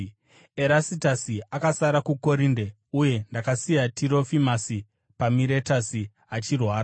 Erastasi akasara kuKorinde, uye ndakasiya Tirofimasi paMiretasi achirwara.